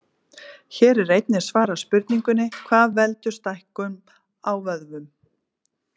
Hér er einnig svarað spurningunni: Hvað veldur stækkun á vöðvum?